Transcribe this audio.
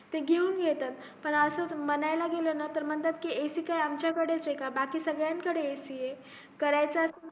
ते घेऊन घेता पण असाच म्हणायला गेलं कि ते म्हणता ac काय आपल्याकडेच अ का बाकी सगळ्यांकडे ac अ